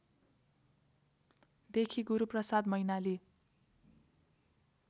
देखि गुरूप्रसाद मैनाली